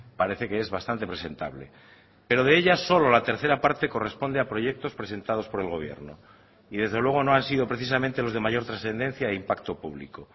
parece que es bastante presentable pero de ellas solo la tercera parte corresponde a proyectos presentados por el gobierno y desde luego no han sido precisamente los de mayor trascendencia e impacto público